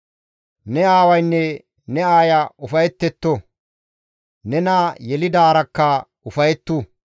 Ne aawaynne ne aaya ufayettetto; nena yelidaarakka ufayettu.